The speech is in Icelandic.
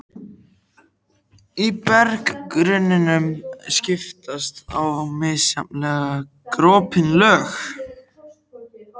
Í berggrunninum skiptast á misjafnlega gropin lög.